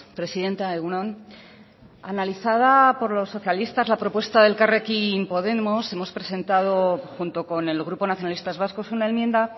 presidenta egun on analizada por los socialistas la propuesta de elkarrekin podemos hemos presentado junto con el grupo nacionalistas vascos una enmienda